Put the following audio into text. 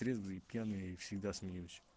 трезвый и пьяный я всегда смеюсь